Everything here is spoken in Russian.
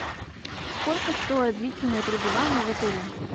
сколько стоит длительное пребывание в отеле